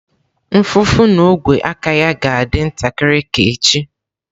Mfụfụ na ogwe aka ya ga-adị ntakịrị ka echi